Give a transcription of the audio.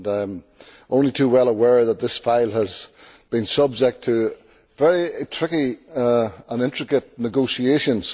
I am only too well aware that this file has been subject to very tricky and intricate negotiations.